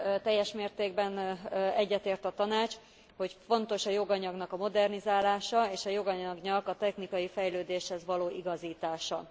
teljes mértékben egyetért a Tanács, hogy fontos a joganyagnak a modernizálása, és a joganyagnak a technikai fejlődéshez való igazítása.